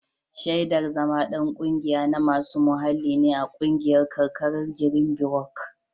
Shaidar zama ɗan ƙungiya na masu muhalli ne a ƙungiyar karkarar girinbirok.